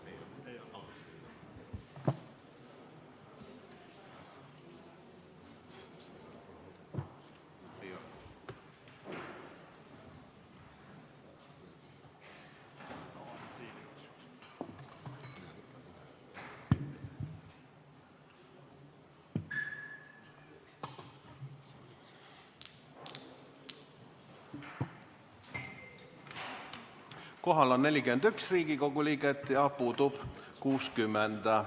Kohal on 41 Riigikogu liiget ja puudub 60.